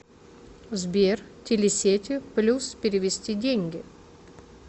сбер телесети плюс перевести деньги